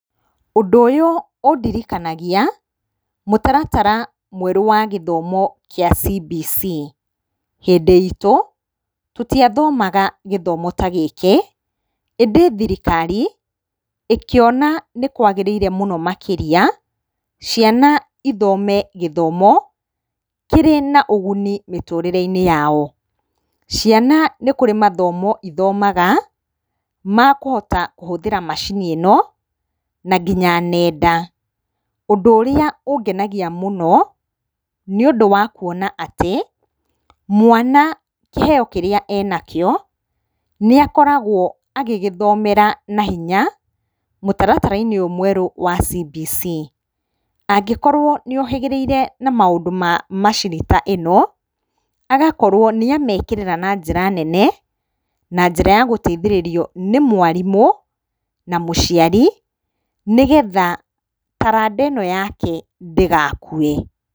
Ũndũ ũyũ ũndirikanagia mũtaratara mwerũ wa gĩthomo gĩa CBC. Hĩndĩ itũ tũtiathomaga gĩthomo ta gĩkĩ ĩndĩ thirikari ĩkĩona nĩkwagĩrĩire mũno makĩria ciana ithome gĩthomo kĩrĩ na ũguni mĩtũrĩre-inĩ yao. Ciana nĩ kũrĩ mathomo ithomaga makũhota kũhũthĩra macini ĩno na nginya ng'enda. Ũndũ ũrĩa ũngenagia mũno nĩũndũ wa kuona atĩ mwana kĩheo kĩrĩa arĩ nakĩo nĩakoragwo agĩgĩthomera na hinya mũtaratara-inĩ ũyũ mwerũ wa CBC. Angĩkorwo nĩohĩgĩrĩire na maũndũ ma macini ta ĩno agakorwo nĩamekĩrĩra na njĩra nene na njĩra ya gũteithĩrĩrio nĩ mwarimũ na mũciari nĩgetha taranda ĩno yake ndĩgakue.